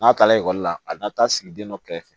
N'a taara ekɔli la a na taa sigi den dɔ kɛrɛfɛ